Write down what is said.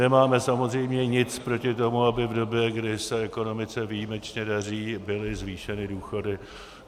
Nemáme samozřejmě nic proti tomu, aby v době, kdy se ekonomice výjimečně daří, byly zvýšeny důchody.